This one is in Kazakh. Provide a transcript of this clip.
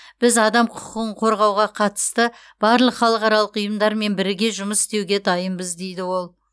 біз адам құқығын қорғауға қатысты барлық халықаралық ұйымдармен біріге жұмыс істеуге дайынбыз дейді ол